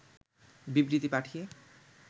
বিবৃতি পাঠিয়ে